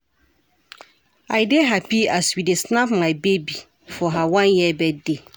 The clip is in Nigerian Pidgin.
I dey hapi as we dey snap my baby for her one year birthday.